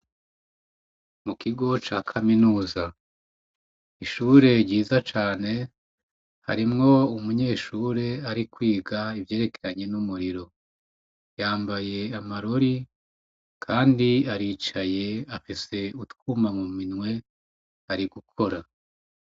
Mu kigo ca kaminiza. Ishure ryiza cane, harimwo umunyeshure ari kwiga ivyerekeranye n'umuriro. Yambaye amarori, kandi aricaye afise utwuma mu minwe, ari gukora.